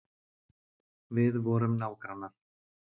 Við vorum nágrannar.